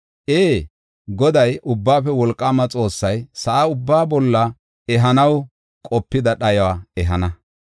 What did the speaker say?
Ee, Goday, Ubbaafe Wolqaama Xoossay sa7a ubbaa bolla ehanaw qopida dhayuwa ehana.